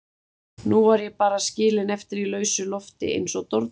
Nú var ég bara skilin eftir í lausu lofti eins og dordingull.